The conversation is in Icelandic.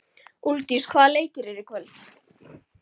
Úlfdís, hvaða leikir eru í kvöld?